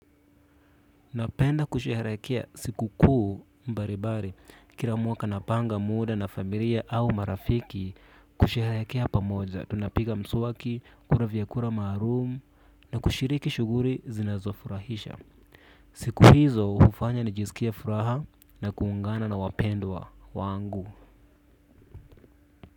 Napenda kusherehekea siku kuu mbalimbali kila mwaka napanga muda na familia au marafiki kusherehekea pamoja tunapiga mswaki kula vyakura maalum na kushiriki shughuli zinazofurahisha. Siku hizo hufanya nijisikie furaha na kuungana na wapendwa wangu.